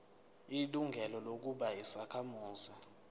ilungelo lokuba yisakhamuzi